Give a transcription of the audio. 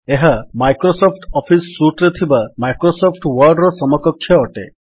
ଏହା Microsoft Office suite ରେ ଥିବା ମାଇକ୍ରୋସଫ୍ଟ ୱର୍ଡ ସମକକ୍ଷ ଅଟେ